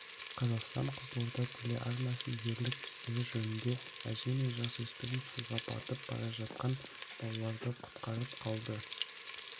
қазақстан-қызылорда телеарнасы ерлік істері жөнінде әже мен жасөспірім суға батып бара жатқан балаларды құтқарып қалды